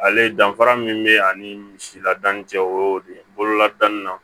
Ale danfara min bɛ ani misiladani cɛ o de bolola danni na